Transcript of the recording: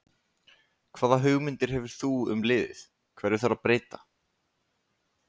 Hvaða hugmyndir hefur þú um liðið, hverju þarf að breyta?